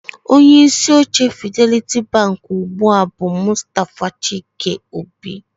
Onye isi oche Fidelity Bank ugbu a bụ Mustafa Chike-Obi